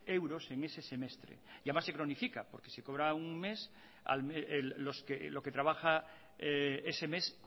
euros en ese semestre y además se cronifica porque si cobra un mes lo que trabaja ese mes